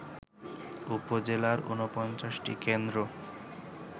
উপজেলার ৪৯ টি কেন্দ্র